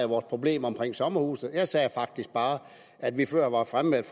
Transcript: vores problemer omkring sommerhusene jeg sagde faktisk bare at vi før var fremme med